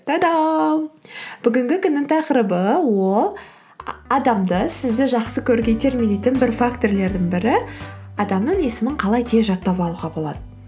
тадам бүгінгі күннің тақырыбы ол адамды сізді жақсы көруге итермелейтін бір фактірлердің бірі адамның есімін қалай тез жаттап алуға болады